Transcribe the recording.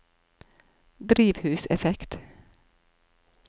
drivhuseffekt